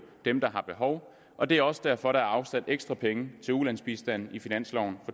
dem der har behov og det er også derfor at der er afsat ekstra penge til ulandsbistanden i finansloven